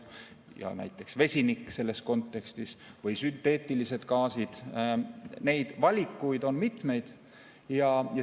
Ja näiteks vesinik selles kontekstis või sünteetilised gaasid – valikuid on mitmeid.